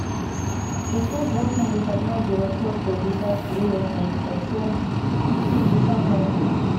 шестьсот восемьдесят ноль девятьсот пятьдесят три восемьдесят семь шестьдесят ноль двести